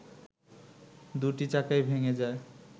দুটি চাকাই ভেঙে যায়